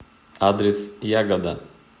адрес ягода